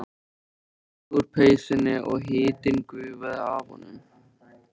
Hann reif sig úr peysunni og hitinn gufaði af honum.